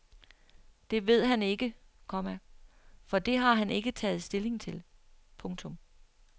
Det ved han ikke, komma for det har han ikke taget stilling til. punktum